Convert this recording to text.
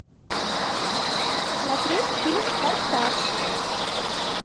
смотреть фильм форсаж